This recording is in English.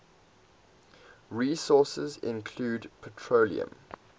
resources include petroleum